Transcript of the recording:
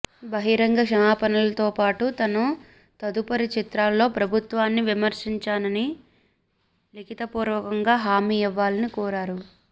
బహిరంగ క్షమాపణలతో పాటు తన తదుపరి చిత్రాల్లో ప్రభుత్వాన్ని విమర్శించానని లిఖితపూర్వకంగా హామీ ఇవ్వాలని కోరారు